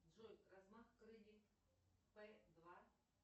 джой размах крыльев п два